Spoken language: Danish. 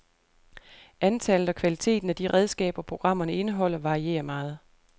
Antallet og kvaliteten af de redskaber, programmerne indeholder, varierer meget.